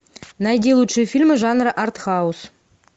найди лучшие фильмы жанра арт хаус